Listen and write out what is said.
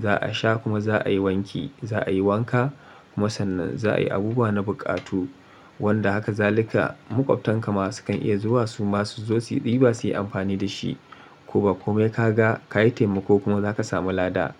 za a sha kuma za a yi wanki. Za a yi wanka kuma sannan za a yi abubuwa na buƙatu wanda haka zalika maƙwabtan ka ma su kan iya zuwa su masu zo su ɗiba su yi amfani dashi ko ba komai kaga ka yi taimako kuma zaka samu lada.